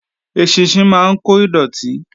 Eṣinṣin máa ń kó dọ̀tí